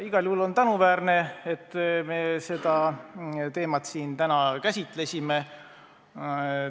Igal juhul on tänuväärne, et me seda teemat siin täna käsitlesime.